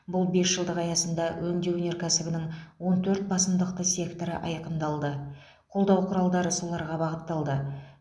бұл бесжылдық аясында өңдеу өнеркәсібінің он төрт басымдықты секторы айқындалды қолдау құралдары соларға бағытталды